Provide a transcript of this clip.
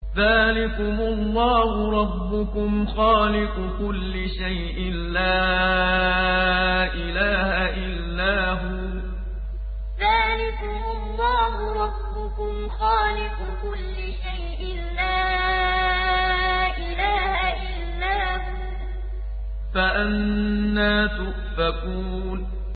ذَٰلِكُمُ اللَّهُ رَبُّكُمْ خَالِقُ كُلِّ شَيْءٍ لَّا إِلَٰهَ إِلَّا هُوَ ۖ فَأَنَّىٰ تُؤْفَكُونَ ذَٰلِكُمُ اللَّهُ رَبُّكُمْ خَالِقُ كُلِّ شَيْءٍ لَّا إِلَٰهَ إِلَّا هُوَ ۖ فَأَنَّىٰ تُؤْفَكُونَ